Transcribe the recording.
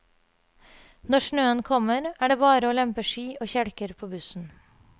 Når snøen kommer, er det bare å lempe ski og kjelker på bussen.